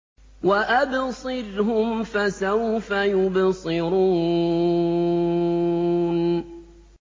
وَأَبْصِرْهُمْ فَسَوْفَ يُبْصِرُونَ